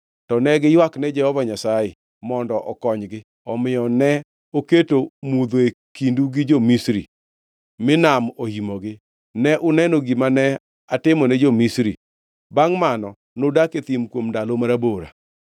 To ne giywakne Jehova Nyasaye mondo okonygi, omiyo ne oketo mudho e kindu gi jo-Misri; mi nam oimogi. Ne uneno gima ne atimone jo-Misri. Bangʼ mano nudak e thim kuom ndalo marabora.